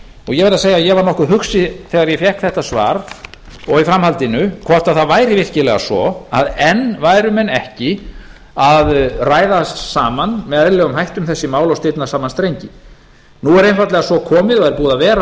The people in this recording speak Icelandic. ég verð að segja að ég varð nokkuð hugsi þegar ég fékk þetta svar og í framhaldinu hvort það væri virkilega svo að enn væru menn ekki að ræða saman með eðlilegum hætti um þessi mál og stilla saman strengi nú er einfaldlega svo komið eða búið að vera